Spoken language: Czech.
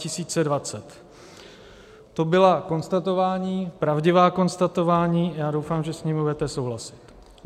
To byla konstatování, pravdivá konstatování, já doufám, že s nimi budete souhlasit.